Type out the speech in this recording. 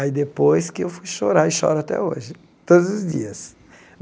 Aí depois que eu fui chorar, e choro até hoje, todos os dias.